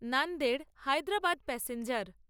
Nanded Hyderabad passenger